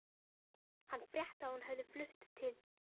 Hann frétti að hún hefði flutt til